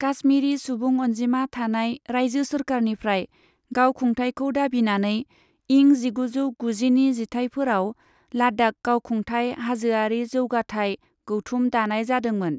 काश्मीरी सुबुं अनजिमा थानाय रायजो सोरखारनिफ्राय गाव खुंथायखौ दाबिनानै, इं जिगुजौ गुजिनि जिथाइफोराव लाद्दाख गावखुंथाय हाजोआरि जौगाथाय गौथुम दानाय जादोंमोन।